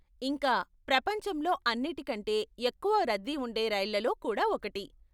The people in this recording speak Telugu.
ఇంకా, ప్రపంచంలో అన్నిటి కంటే ఎక్కువ రద్దీ ఉండే రైళ్ళలో కూడా ఒకటి.